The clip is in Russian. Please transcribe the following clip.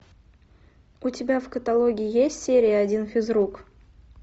у тебя в каталоге есть серия один физрук